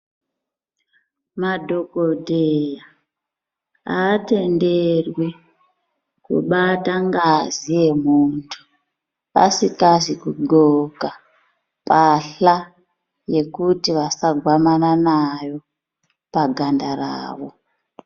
Madhokodheya aatenderwi kubata ngazi yemuntu asikazi kugoka pahla yekuti vasagwamana nayo paganda rawo